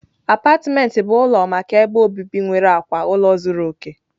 Apátịment bụ ụlọ maka ebe obibi nwere akwa ụlọ zuru oke..